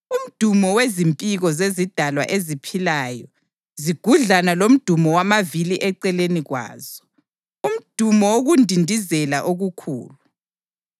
Umdumo wezimpiko zezidalwa eziphilayo zigudlana lomdumo wamavili eceleni kwazo, umdumo wokundindizela okukhulu.